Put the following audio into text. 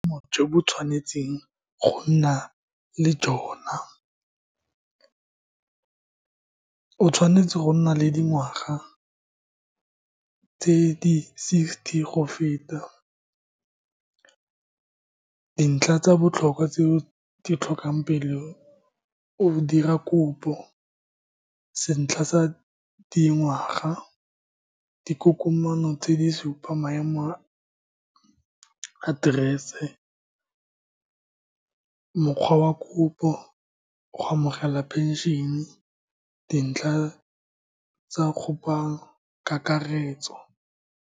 jo bo tshwanetseng go nna le , o tshwanetse go nna le dingwaga tse di sixty go feta. Dintlha tsa botlhokwa tse o ditlhokang pele o dira kopo, sentlha sa dingwaga, dikokomana tse di supa maemo a address-se, mokgwa wa kopo go amogela pension-ne, dintlha tsa kakaretso.